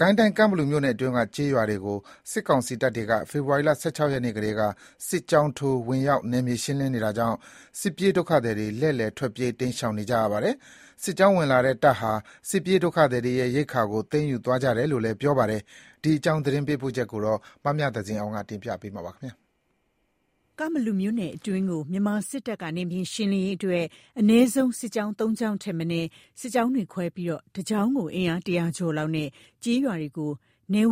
ကိုင်းတိုင်း ကန့်ဘလူမြို့နယ်အတွင်းက ကျေးရွာတွေကို စစ်ကောင်စီတပ်တွေက ဖေဖော်ဝါရီ ၁၆ ရက်နေ့ကတည်းက စစ်ကြောင်းထိုးဝင်ရောက် နယ်မြေရှင်းနေတာကြောင့် စစ်ပြေးဒုက္ခသည်တွေ လှည့်လည်ထွက်ပြေးတိမ်းရှောင်နေရပါတယ်။ စစ်ကြောင်းဝင်လာတဲ့ တပ်ဟာ စစ်ပြေးဒုက္ခသည်တွေရဲ့ ရိက္ခာကို သိမ်းယူသွားကြတယ်လို့လည်း ပြောပါတယ်။ ဒီအကြောင်းသတင်းပေးပို့ချက်ကို မမြသဇင်အောင်က တင်ပြပေးပါမယ်။ ကန့်ဘလူမြို့နယ်အတွင်းကို မြန်မာစစ်တပ်က နယ်မြေရှင်းလင်းရေးအတွက် အနည်းဆုံး စစ်ကြောင်း ၃ ကြောင်းထက်မနည်း စစ်ကြောင်းတွေ ခွဲပြီး တစ်ကြောင်းကို အင်အား ၁၀၀ ကျော်လောက်နဲ့ ကျေးရွာတွေကို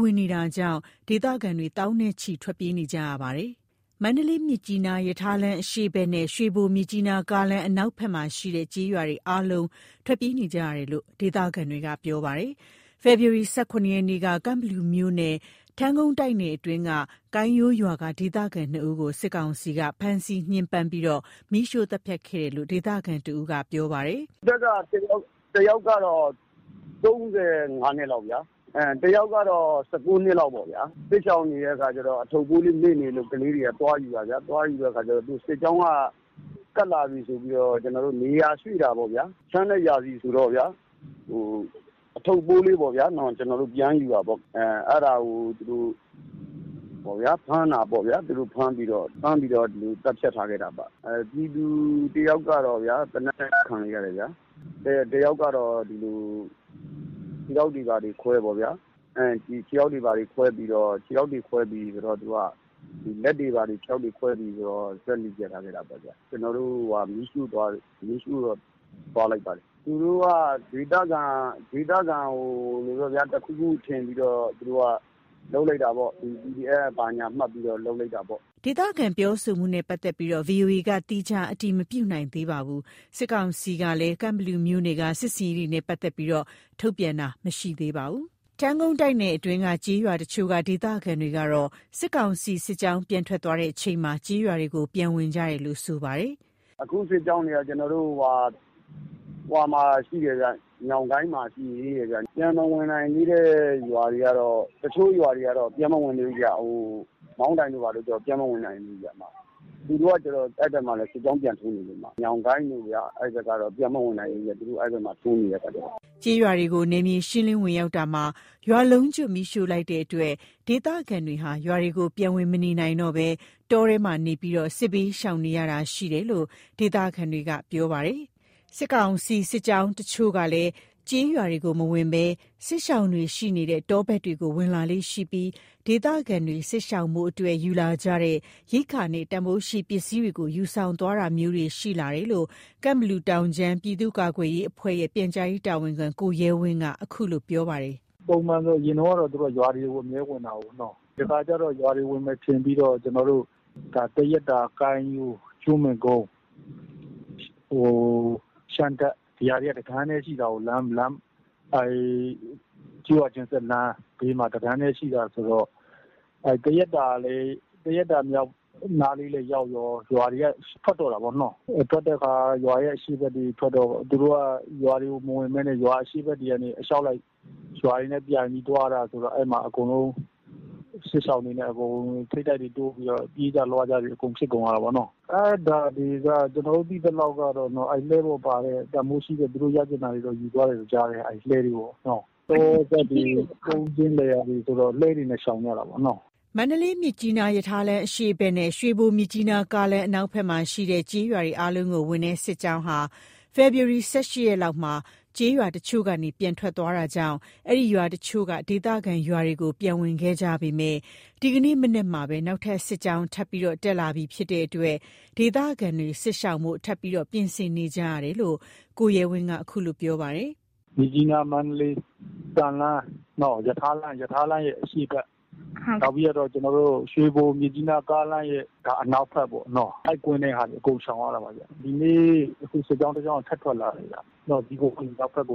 ဝင်နေတာကြောင့် ဒေသခံတွေ သောင်းနဲ့ချီ ထွက်ပြေးနေကြရပါတယ်။ မန္တလေး-မြစ်ကြီးနား ရထားလမ်း အရှေ့ဖက်နဲ့ ရွှေဘို-မြစ်ကြီးနား ကားလမ်း အနောက်ဖက်မှာရှိတဲ့ ကျေးရွာတွေအားလုံး ထွက်ပြေးနေကြရတယ်လို့ ဒေသခံတွေက ပြောပါတယ်။ ဖေဖော်ဝါရီ ၁၇ ရက်နေ့က ကန့်ဘလူမြို့နယ် ထန်းကုန်းတိုက်နယ်အတွင်းက ကိုင်းရိုးရွာက ဒေသခံ ၂ ဦးကို စစ်ကောင်စီက ဖမ်းဆီး ညှင်းပန်းပြီးတော့ မီးရှို့သတ်ဖြတ်ခဲ့တယ်လို့ ဒေသခံတစ်ဦးက ပြောပါတယ်။ "အသက်က တစ်ယောက်ကတော့ ၃၅ နှစ်လောက်ဗျာ၊ တစ်ယောက်တော့ ၁၉ နှစ်လောက်ပေါ့ဗျာ။ စစ်ရှောင်နေတဲ့အခါကျတော့ အထုပ်အပိုးလေး မေ့နေလို့ ကလေးတွေက သွားပြန်ယူတာဗျာ၊ သွားယူတော့ စစ်ကြောင်းက တက်လာပြီဆိုပြီးတော့ နေရာရွေ့တာပေါ့ဗျာ၊ ချမ်းတဲ့ရာသီဆိုတော့ဗျာ အထုပ်အပိုးလေးသွားပြန်ယူတာပေါ့၊ အဲ့ဒါကို သူတို့ဖမ်းတာပေါ့ဗျာ၊ ဖမ်းပြီးတော့ ဒီလို သတ်ဖြတ်ထားခဲ့တာပေါ့။ တစ်ယောက်ကတော့ သေနတ်နဲ့ ပစ်သတ်ခံလိုက်ရတယ်ဗျာ၊ တစ်ယောက်ကတော့ ခြေထောက်တွေဘာတွေကို (ဓားနဲ့) ခွဲပြီးတော့ လက်တွေဘာတွေ ခွဲပြီးတော့ သတ်ဖြတ်ထားခဲ့တာပေါ့၊ ပြီးတော့ မီးရှို့သွားလိုက်ပါတယ်။ သူတို့က ဒေသခံတွေကို တစ်ခုခုထင်ပြီးတော့ သူတို့က PDF ဘာညာမှတ်ပြီးတော့ လုပ်လိုက်တာပေါ့။" ဒေသခံပြောဆိုမှုနဲ့ပတ်သက်လို့ ဗွီအိုအေက သီးခြားအတည်မပြုနိုင်သေးပါဘူး။ စစ်ကောင်စီကလည်း ကန့်ဘလူနယ်က စစ်ဆင်ရေးတွေနဲ့ပတ်သက်လို့ ထုတ်ပြန်တာလည်းမရှိသေးပါဘူး။ ထန်းကုန်းတိုက်နယ်အတွင်းက ကျေးရွာတချို့က ဒေသခံတွေကတော့ စစ်ကောင်စီ စစ်ကြောင်းပြန်ထွက်သွားချိန်မှာ ကျေးရွာတွေကို ပြန်ဝင်ကြတယ်လို့ဆိုပါတယ်။ "အခုစစ်ကြောင်းတွေက ညောင်ကိုင်းမှာ ရှိသေးတယ်ဗျ။ ပြန်မဝင်နိုင်သေးတဲ့ ရွာတွေကတော တချို့ရွာတွေကတော့ ပြန်မဝင်နိုင်သေးဘူးဗျ၊ မောင်းတိုင်တို့ ဘာတို့ဆိုရင် ပြန်မဝင်နိုင်သေးဘူးဗျ။ သူတို့ အဲ့ဖက်မှာ စစ်ကြောင်းပြန်ထိုးနေလို့ဗျ။ ညောင်ကိုင်းတို့ကတော့ ပြန်မဝင်နိုင်သေးဘူး အဲ့ဖက်မှာ စစ်ကြောင်းထိုးနေတဲ့ခါကျတော့။" ကျေးရွာတွေကို နယ်မြေရှင်းဝင်ရောက်ရာမှာ ရွာလုံးကျွတ်မီးရှို့လိုက်တဲ့အတွက် ဒေသခံတွေဟာ ရွာတွေကို ပြန်ဝင်မနေနိုင်ကြတော့ဘဲ တောထဲမှာပဲ နေပြီး စစ်ဘေးရှောင်နေကြရတာလို့ ဒေသခံတွေကပြောပါတယ်။ စစ်ကောင်စီရဲ့ စစ်ကြောင်းတချို့ကလည်း ကျေးရွာတွေကို မဝင်ဘဲ စစ်ရှောင်တွေ ရှိနေတဲ့ တောဖက်တွေကို ဝင်လာလေ့ ရှိပြီး ဒေသခံတွေ စစ်ရှောင်ဖို့အတွက် ယူလာကြတဲ့ ရိက္ခာနဲ့ တန်ဖိုးရှိပစ္စည်းတွေကို ယူဆောင်သွားတာမျိုးတွေ ရှိလာတယ်လို့ ကန့်ဘလူတောင်ခြမ်း ပြည့်သူ့ကာကွယ်ရေးအဖွဲ့ရဲ့ ပြန်ကြားရေး တာဝန်ခံ ကိုရဲဝင်းက ခုလိုပြောပါတယ်။ "ပုံမှန်ဆိုသူတို့က ရွာတွေက အမြဲဝင်တာကိုး၊ ဒီတခါလဲ ကျွန်တော်တို့က ရွာတွေကို ဝင်မယ်ထင်ပြီးတော့ သရက်သာ၊ ကိုင်းရိုး၊ ကျွန်းပင်ကုန်း၊ ရှမ်းတပ်၊ ဒီဟာတွေက တတန်းတည်းရှိတာကိုး ကျေးရွာချင်းဆက်လမ်းမှာ တတန်းတည်း ရှိတာဆိုတော့ သရက်သာနားလေးလည်းရောက်ရော ရွာတွေက ထွက်တော့တာပေါ့၊ ရွာရဲ့ အရှေ့ဖက်တွေ ထွက်တော့ သူတို့က ရွာတွေကို မဝင်ပဲနဲ့ ရွာအရှေ့ဖက်တွေကနေ အလျောက်လိုက် ရွာတွေနဲ့ ပြိုငိပြီး သွားတာဆိုတော့ အဲ့မှာအကုန်လုံး စစ်ရှောင်တွေနဲ့ ထိပ်တိုက်တွေ တိုးပြီးတော့ ပြေးကြလွှားကြတွေ အကုန်ဖြစ်ကုန်တာပေါ့။ အဲ့ဒါတွေက ကျွန်တော်တို့သိသလောက်တော့ လှည်းပေါ်ပါတဲ့ တန်ဘိုးရှိတဲ့ သူတို့ရချင်တာတွေကိုတော့ ယူသွားတယ်လို့ ကြားတယ်၊ လှည်းတွေပေါကပေါ့။ တောဖက်တွေ ကုန်းတွေ လယ်ယာတွေဆိုတော့ လှည်းတွေနဲ့ ရှောင်ကြတာကိုး။" မန္တလေး-မြစ်ကြီးနား ရထားလမ်း အရှေ့ဖက်နဲ့ ရွှေဘို-မြစ်ကြီးနား ကားလမ်း အနောက်ဖက်မှာရှိတဲ့ ကျေးရွာတွေအားလုံးကို ဝင်တဲ့ စစ်ကြောင်းက ဖေဖော်ဝါရီ ၁၈ ရက်လောက်မှာ ကျေးရွာတချို့ကနေ ပြန်ထွက်သွားတာကြောင့် အဲ့ဒီ ရွာတချို့က ဒေသခံတွေ ရွာကို ပြန်ဝင်ခဲ့ကြပေမယ့် ဒီကနေ့ မနက်မှာပဲ နောက်ထပ် စစ်ကြောင်းက ထပ်ပြီး တက်လာနေပြီဖြစ်တဲ့အတွက် ဒေသခံတွေ စစ်ရှောင်ဖို့ ထပ်ပြီး ပြင်ဆင်နေကြရပြန်တယ်လို့ ကိုရဲဝင်းက ခုလိုပြောပါတယ်။ "မြစ်ကြီးနား-မန္တလေး သံလမ်း ရထားလမ်းရဲ့ အရှေ့ဖက် နောက်ပြီး ရွှေဘို-မြစ်ကြိးနား ကားလမ်းရဲ့ အနောက်ဖက်ပေါ့နော၊ အဲ့ကွင်းထဲက ရွာတွေ အကုန်ရှောင်ရတာပါဗျ။ ဒီနေ့ စစ်ကြောင်းတစ်ကြောင်းက ထပ်ထွက်လာတာဗျ။ ဇီးကုန်းဖက်ကနေ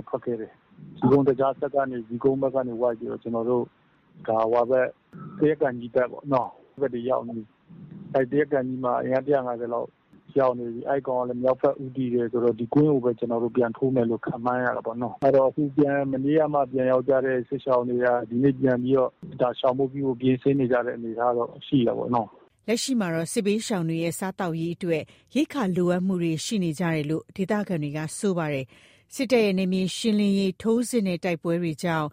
ထွက်ခဲ့တယ်။ ဇီးကုန်းသကြားစက်ကနေ ဇီးကုန်းဖက်က ဝိုက်ပြီးတော့ သရက်ကန်ကြီးဖက်ပေါနော အဲ့ဖက်တွေ ရောက်နေပြီ။ သရက်ကန်ကြီးမှာ အင်အား ၁၅၀ လောက်ရောက်နေပြီ၊ အဲ့ကောင်ကလဲ မြောက်ဖက်ကိုပဲ ဦးတည်တယ်ဆိုတော့ ဒီကွင်းကိုပဲ ပြန်ထိုးမယ်လို ခန့်မှန်းရတာပေါ့နော။ အခု မနေ့ကမှ ရွာကို ပြန်ရောက်ကြတဲ့ ကျေးရွာတွေက ဒီနေ့ပြန်ပြီးတော့ ရှောင်ဖို့ပြုဖို့ ပြင်ဆင်နေကြတဲ့ အနေအထားတော့ ရှိတယ်ပေါ့နော။" လက်ရှိမှာတော့ စစ်ဘေးရှောင်တွေရဲ့ စားသောက်ရေးအတွက် ရိက္ခာလိုအပ်မှုတွေ ရှိနေကြတယ်လို့ ဒေသခံတွေက ဆိုပါတယ်။ စစ်တပ်ရဲ့ နယ်မြေရှင်းလင်းရေး ထိုးစစ်နဲ့ တိုက်ပွဲတွေကြောင့်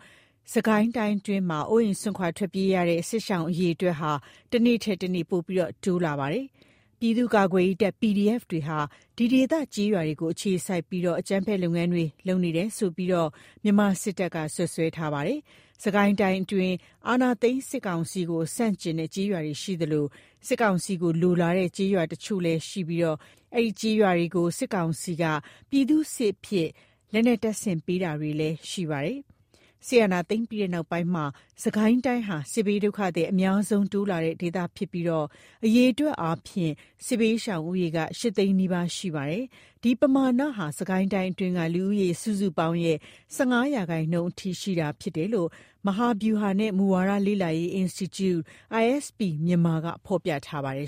စစ်ကိုင်းအတွင်းမှာ အိုးအိမ် စွန့်ခွာ ထွက်ပြေးနေကြရတဲ့ စစ်ရှောင်အရေအတွက်တွေက တစ်နေ့ထက်တစ်နေ့ ပိုပြီးတိုးလာနေပါတယ်။ ပြည်သူ့ ကာကွယ်ရေးတပ် PDF တွေဟာ ဒီဒေသ ကျေးရွာတွေကို အခြေစိုက်ပြီး အကြမ်းဖက် လုပ်ငန်းတွေ လုပ်နေတယ်ဆိုပြီးတော့လည်း မြန်မာစစ်တပ်က စွပ်စွဲပါတယ်။ စစ်ကိုင်းတိုင်းအတွင်း အာဏာသိမ်းစစ်ကောင်စီကို ဆန့်ကျင်တဲ့ကျေးရွာတွေရှိသလို၊ စစ်ကောင်စီကိုလိုလားတဲ့ ကျေးရွာတချို့လည်းရှိနေပြီး အဲဒီကျေးရွာတွေကို စစ်ကောင်စီက ပြည်သူ့စစ်အဖြစ် လက်နက်တပ်ဆင်ပေးတာတွေလည်းရှိခဲ့ပါတယ်။ စစ်အာဏာသိမ်းပြီးနောက်ပိုင်းမှာ စစ်ကိုင်းတိုင်းဟာ စစ်ဘေးဒုက္ခသည် အများဆုံး တိုးလာတဲ့ ဒေသဖြစ်ပြီးတော့ အရေအတွက်အားဖြင့် စစ်ဘေးရှောင် ဦးရေက ၈ သိန်းနီးပါး ရှိပါတယ်။ဒီပမာဏဟာ စစ်ကိုင်းတိုင်းအတွင်းက လူဦးရေ စုစုပေါင်းရဲ့ ၁၅ ရာခိုင်နှုန်း အထိ ရှိတာဖြစ်တယ်လို့ မြန်မာ့မဟာဗျူဟာနဲ့ မူဝါဒလေ့လာရေး အင်စတီကျု ISP Myanmar က ဖော်ပြထားပါတယ်